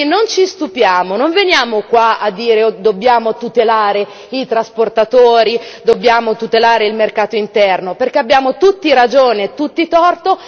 Quindi non ci stupiamo, non veniamo qua a dire dobbiamo tutelare i trasportatori, dobbiamo tutelare il mercato interno, perché abbiamo tutti ragione e tutti torto.